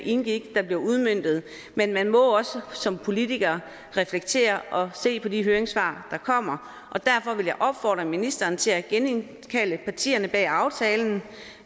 indgik der bliver udmøntet men man må også som politiker reflektere og se på de høringssvar der kommer og derfor vil jeg opfordre ministeren til at genindkalde partierne bag aftalen